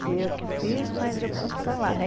Fui eu que fiz, mas eu posso falar, né?